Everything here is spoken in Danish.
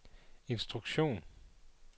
instruktion